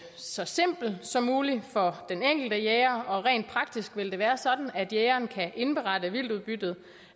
så simpel som muligt for den enkelte jæger rent praktisk vil det være sådan at jægeren kan indberette vildtudbyttet